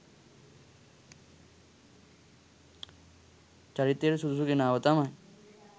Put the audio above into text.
චරිතයට සුදුසු කෙනාව තමයි